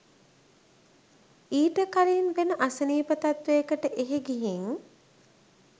ඊට කලින් වෙන අසනීප තත්වයකට එහෙ ගිහින්